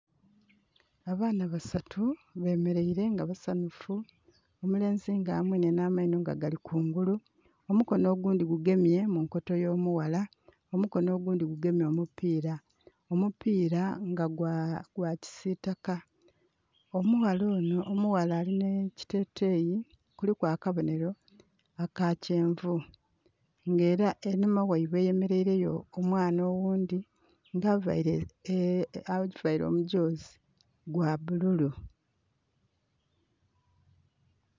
Abaana basatu bemereire nga basanhufu omulenzi nga amwenye nha maino nga gali kungulu, omukono ogundhi gugemye mu nkoto yo mughala, omukono ogundhi nga gugemye omupira omupira nga gwakisitaka. Omughala onho alinha ekiteteyi kiliku akabonhero akakyenvu nga era einhuma ghaibwe eyemereire yo omwana oghundhi nga avaire omudhoozi gwa bululu.